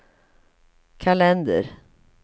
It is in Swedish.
kalender